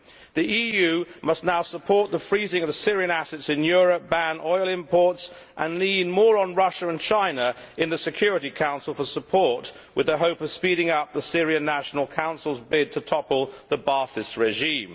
The EU must now support the freezing of Syrian assets in Europe, ban oil imports and lean more on Russia and China in the Security Council for support with the hope of speeding up the Syrian National Council's bid to topple the Ba'athist regime.